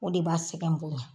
O de b'a sɛgɛ bonya